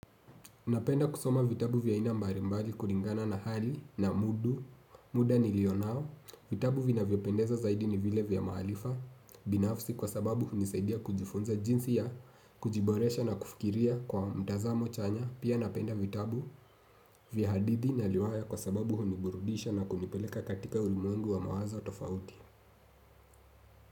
Napenda kusoma vitabu vya aina mbalimbali kulingana na hali na mudu, muda nilio nao, vitabu vinavyo pendeza zaidi ni vile vya maaarifa binafsi kwa sababu hunisaidia kujifunza jinsi ya, kujiboresha na kufikiria kwa mtazamo chanya, pia napenda vitabu vya hadithi na riwaya kwa sababu huniburudisha na kunipeleka katika ulimwengu wa mawazo tofauti.